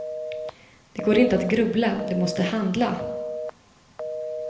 Det går inte att grubbla, du måste handla.